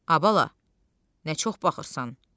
A bala, nə çox baxırsan?